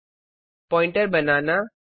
pointer pointer banana